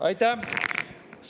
Aitäh!